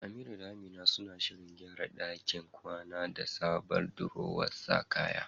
Amira da Amina suna shirin gyara ɗakin kwana da sabon durowar sa kaya.